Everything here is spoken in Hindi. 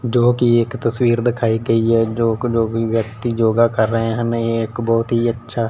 जोकि एक तस्वीर दिखाई गई है जोक जो भी व्यक्ति योगा कर रहे हैं नहीं एक बहोत ही अच्छा--